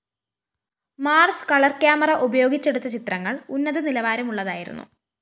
Mars colour camera ഉപയോഗിച്ചെടുത്ത ചിത്രങ്ങള്‍ ഉന്നത നിലവാരമുള്ളതായിരുന്നു